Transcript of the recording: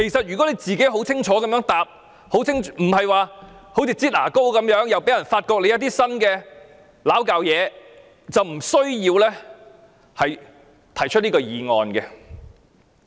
如果鄭司長肯清楚回答，而不是"擠牙膏"般，之後又被人揭發一些新問題，這項議案是不需要提出的。